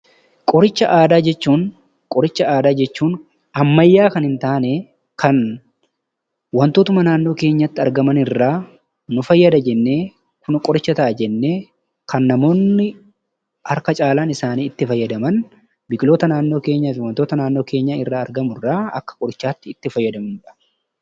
Qoricha Aadaa jechuun ammayyaa kan hin taane kan wantootuma naannoo kèenyatti argaman irraa nu fayyada jennee, qoricha ta'a jennee lan namoonni harka caalaan isaanii itti fayyadaman, biqiloota naannoo keenyatti argamu irraa akka qorichaatti itti fayyadamu.